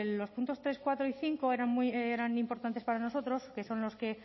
los puntos tres cuatro y cinco eran muy importantes para nosotros que son los que